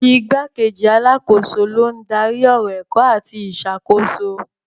Igbákejì alákòóso ló ń darí ọ̀rọ̀ ẹ̀kọ́ àti ìṣàkóso.